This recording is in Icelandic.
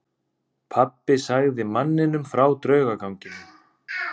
Pabbi sagði manninum frá draugaganginum.